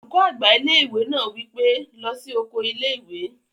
Olùkọ́ àgbà ilé-ìwé náà wí pé, "lọ sí oko ilé-ìwé!"